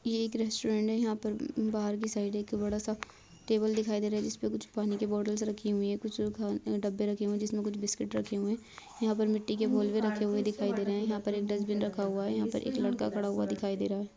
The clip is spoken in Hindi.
ये एक रेस्टोरेंट है यहाँ पर बाहर के साइड एक बड़ा सा टेबल दिखाई दे रहा हैं जिसपे कुछ पानी के बॉटल रखे हुये हैं कुछ डब्बे रखे हुए हैं जिसमे कुछ बिस्किट रखे हुए हैं यहाँ पर मिट्टी के गोल भी रखे हुए दिखाई दे रहे हैं यहाँ पर एक डस्टबिन रखा हुआ हैं यहाँ पर एक लड़का खाड़ा हुआ दिखाई दे रहा है।